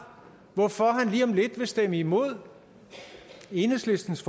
hvorfor han lige om lidt vil stemme imod enheslistens